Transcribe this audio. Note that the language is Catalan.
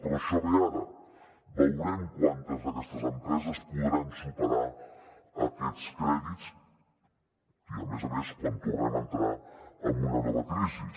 però això ve ara veurem quantes d’aquestes empreses podran superar aquests crèdits i a més a més quan tornem a entrar en una nova crisi